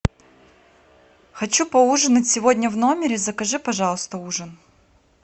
хочу поужинать сегодня в номере закажи пожалуйста ужин